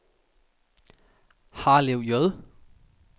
Harlev J